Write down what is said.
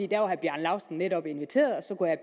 der var herre bjarne laustsen netop inviteret og så kunne